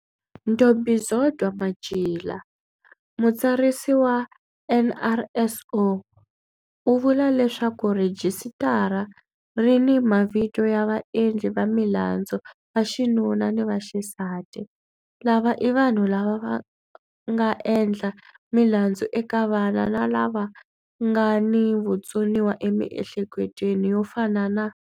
Ntombizodwa Matjila, Mutsarisi wa NRSO, u vula leswaku rhijisitara ri ni mavito ya vaendli va milandzu vaxinuna ni vaxisati lava i vanhu lava nga endla milandzu eka vana na lava nga ni vutsoniwa emihleketweni, yo fana na.